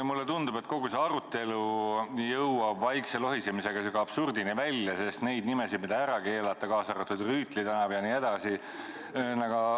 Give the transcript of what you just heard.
Mulle tundub, et kogu see arutelu jõuab vaikse lohisemisega absurdini välja, sest neid nimesid, mida ära keelata, kaasa arvatud Rüütli tänav jne, leidub.